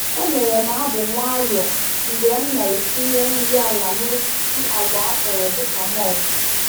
E mere m abụ nwayọ mgbe m na-etinye nri ala na osisi agwa akọrọ dịka mulch.